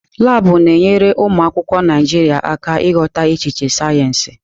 Laabụ̀ na-enyere ụmụ akwụkwọ Naịjiria aka ịghọta echiche sayensị.